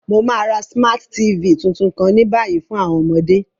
Mo ma ra Smart TV tuntun kan ni bayi fun àwọn ọmọde.